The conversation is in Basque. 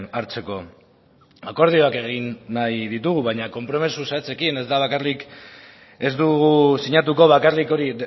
hartzeko akordioak egin nahi ditugu baina konpromiso zehatzekin ez da bakarrik ez dugu sinatuko bakarrik hori